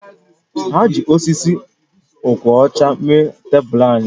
Ha ji osisi ọkwọcha mee tebụl anyị